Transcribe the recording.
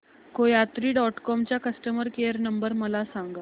कोयात्री dot com चा customer care number मला सांगा